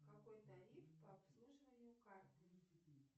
какой тариф по обслуживанию карты